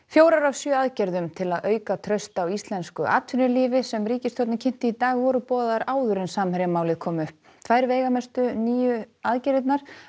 fjórar af sjö aðgerðum til að auka traust á íslensku atvinnulífi sem ríkisstjórnin kynnti í dag voru boðaðar áður en Samherjamálið kom upp tvær veigamestu nýju aðgerðirnar